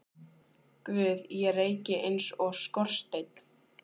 Guð ég reyki eins og skorsteinn.